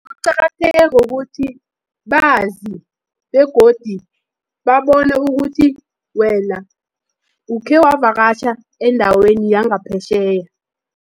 Kuqakatheke ngokuthi, bazi begodi babone ukuthi wena, ukhewavakatjha endaweni yangaphetjheya.